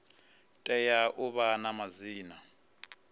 tea u vha na madzina